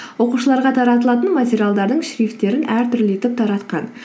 оқушыларға таратылатын материалдардың шрифттерін әртүрлі етіп таратқан